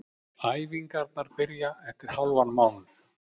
Æfingarnar byrja eftir hálfan mánuð.